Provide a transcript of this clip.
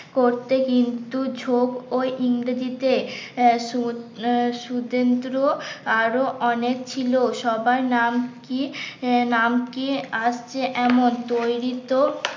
করতে কিন্তু ঝোঁক ও ইংরেজিতে সুদ সুতেন্দ্র আরো অনেক ছিল সবার নাম কি? নাম কি আসছে এমন তৈরি তো